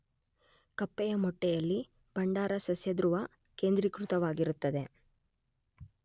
ಕಪ್ಪೆಯ ಮೊಟ್ಟೆಯಲ್ಲಿ ಭಂಡಾರ ಸಸ್ಯಧೃವದಲ್ಲ್ಲಿ ಕೇಂದ್ರೀಕೃತವಾಗಿರುತ್ತದೆ.